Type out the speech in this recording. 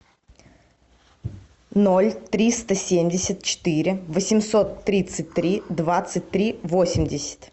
ноль триста семьдесят четыре восемьсот тридцать три двадцать три восемьдесят